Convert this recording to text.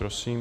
Prosím.